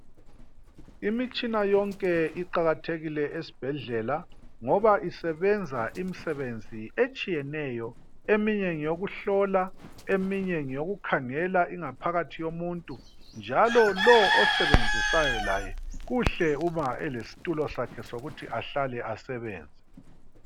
Imitshina yonke iqakathekile esibhedlela ngoba isebenza imsebenzi etshiyeneyo. Eminye ngeyokuhlola, eminye ngeyokukhangela ingaphakathi yomuntu. Njalo lo osebenzisayo laye ku kuhle uba elesitulo sakhe sokuthi ahlale asebenze.